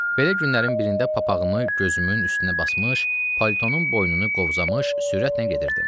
Belə günlərin birində papağımı gözümün üstünə basmış, palitonun boynunu qovzamış sürətlə gedirdim.